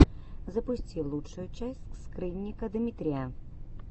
запусти лучшую часть скрынника дмитрия